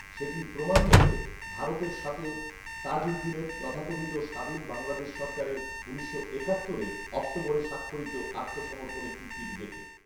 সেটির প্রমাণ মেলে ভারতের সাথে তাজউদ্দীনের তথাকথিত স্বাধীন বাংলাদেশ সরকারের উনিশশো একাত্তরের অক্টোবরে স্বাক্ষরিত আত্মসমর্পণের চুক্তিটি দেখে